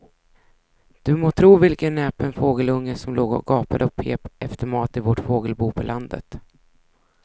Du må tro vilken näpen fågelunge som låg och gapade och pep efter mat i vårt fågelbo på landet.